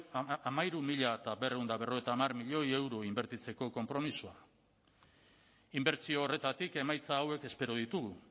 hamairu mila berrehun eta berrogeita hamar milioi euro inbertitzeko konpromisoa inbertsio horretatik emaitza hauek espero ditugu